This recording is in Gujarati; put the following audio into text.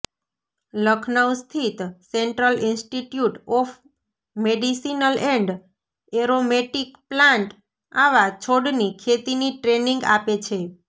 લખનઉ સ્થિત central institute of medicinal and aromatic plant આવા છોડની ખેતીની ટ્રેનિંગ આપે છે